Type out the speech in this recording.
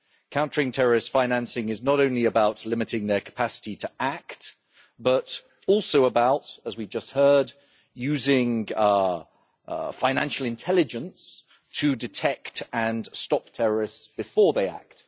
Countering terrorist financing is not only about limiting their capacity to act, but also about, as we have just heard, using financial intelligence to detect and stop terrorists before they act.